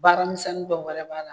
Baara minsɛnin dɔ wɛrɛ b'a la